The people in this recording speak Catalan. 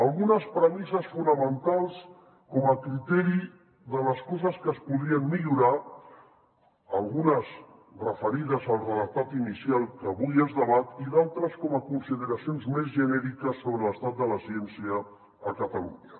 algunes premisses fonamentals com a criteri de les coses que es podrien millorar algunes referides al redactat inicial que avui es debat i d’altres com a consideracions més genèriques sobre l’estat de la ciència a catalunya